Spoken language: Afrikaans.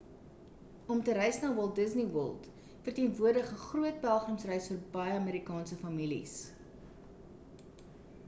om te reis na walt disney world verteenwoordig 'n groot pelgrimsreis vir baie amerikaanse families